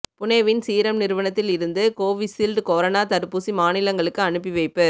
புனேவின் Serum நிறுவனத்தில் இருந்து Covishield corona தடுப்பூசி மாநிலங்களுக்கு அனுப்பி வைப்பு